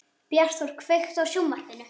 Bjartþór, kveiktu á sjónvarpinu.